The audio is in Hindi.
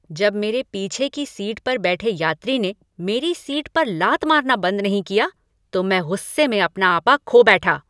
जब मेरे पीछे की सीट पर बैठे यात्री ने मेरी सीट पर लात मारना बंद नहीं किया तो मैं गुस्से में अपना आपा खो बैठा।